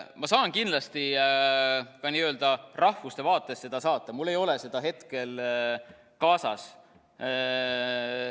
Ma saan kindlasti ka rahvuste kohta saata, mul ei ole neid hetkel kaasas.